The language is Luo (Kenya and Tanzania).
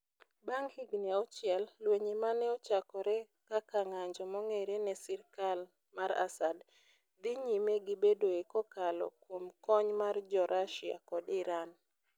Bang ' higini auchiel, lweny ma ne ochakore kaka ng'anjo mong'ere ne sirkal mar Assad, dhi nyime gi bedoe kokalo kuom kony mar jo Russia kod Iran.